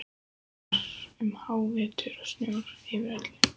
Það var um hávetur og snjór yfir öllu.